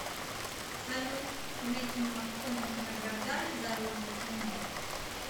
салют мэттью макконахи награждали за роли в кино